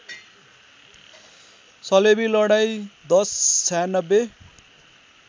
सलेबी लडाईँ १०९६